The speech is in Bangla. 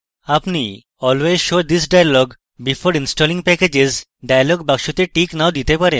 আপনি always show this dialog before installing packages dialog বাক্সটিতে টিক নাও দিতে পারেন